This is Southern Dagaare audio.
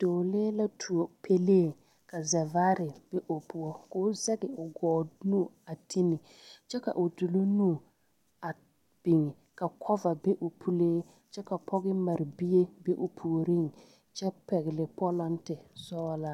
Dɔɔlee la tuo pɛlee ka zɛvaare be o puo k,o zɛge o gɔɔ nu a ti ne kyɛ ka o doloŋ nu a biŋ ka kɔva be o puli kyɛ ka pɔge mare bie be o puoriŋ kyɛ pɛgle pɔlenten sɔglaa.